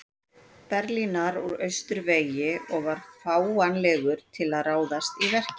Berlínar úr austurvegi og var fáanlegur til að ráðast í verkið.